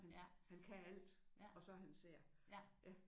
Han kan alt og så er han sær